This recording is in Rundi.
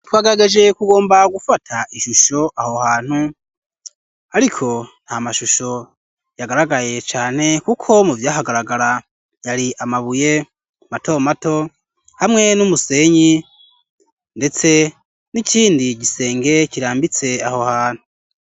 Twagarageje kugomba gufata ishusho aho hantu, ariko nta mashusho yagaragayeye cane, kuko mu vyahagaragara yari amabuye matomato hamwe n'umusenyi, ndetse n'ikindi gisenge kirambitse aho hantu.